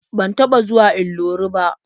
Ban taɓa zuwa Ilori ba.